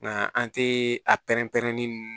Nka an tɛ a pɛrɛn-pɛrɛnin nunnu